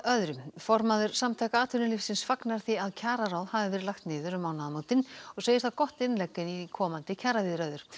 formaður Samtaka atvinnulífsins fagnar því að kjararáð hafi verið lagt niður um mánaðamótin og segir það gott innlegg inn í komandi kjaraviðræður